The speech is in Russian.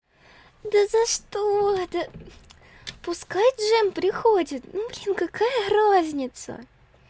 да за что это пускай джем приходит ну в общем какая разница